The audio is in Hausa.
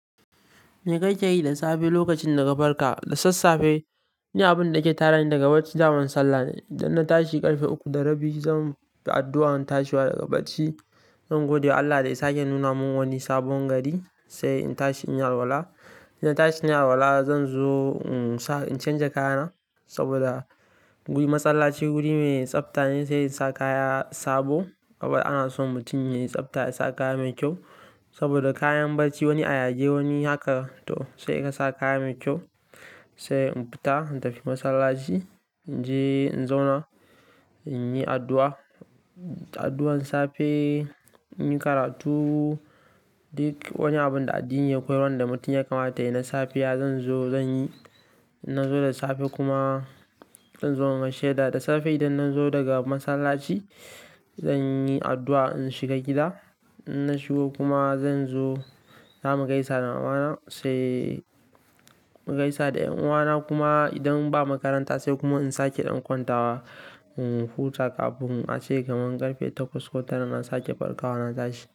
Me kake yi da safe lokacin da ga farka? Da sassafe, ni abin da ke tadani daga barci daman sallah ne. Idan na tashi ƙarfe uku da rabi, zan yi addu'ar tashewa daga barci. Zan gode wa Allah da ya sake nuna mun wani sabon gari, sai in tashi in yi alwala. In tashi nayi alwala, zan zo in sa incanja kayana saboda ni masallaci guri mai tsabta ne sai in sa kaya sabo. Kuma ana so mutum mai tsabta ya sa kaya mai kyau saboda kayan barci wani ayage wani haka, to sai ka sa kaya mai kyau. Sai in fita in tafi masallaci, in je in zauna, in yi addu'a, addu'ar safe, in yi karatu. Duk wani abin da addini ya koyar wanda mutum ya kamata yayi na safiya zan zo zan yi. In nazo da safe kuma in zo in gaishe da dasafe. Idan na zo daga masallaci, zan yi addu'a in shiga gida. In na shigo kuma zan zo za mu gaisa da mamana sai mu gaisa da 'yan uwana kuma idan ba makaranta sai kuma in sake dan kwanta wa. Huta kafin ace kamar ƙarfe takwas ko tara na sake farkawa natashi.